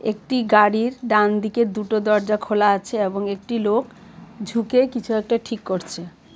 একটি গাড়ির ডান দিকে দুটো দরজা খোলা আছে এবং একটি লোক ঝুকে কিছু একটা ঠিক করছে .